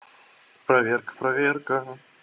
проверка проверка